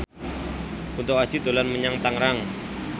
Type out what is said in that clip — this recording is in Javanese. Kunto Aji dolan menyang Tangerang